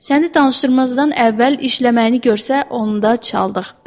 Səni danışdırmazdan əvvəl işləməyini görsə, onda çaldıq.